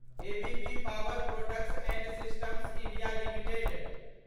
ABB power products and systems India limited